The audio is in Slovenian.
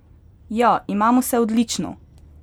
Ja, imamo se odlično!